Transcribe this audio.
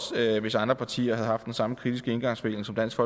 hvis andre partier havde haft den samme kritiske indgangsvinkel som dansk